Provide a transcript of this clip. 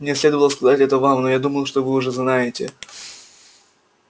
мне следовало сказать это вам но я думал что вы уже знаете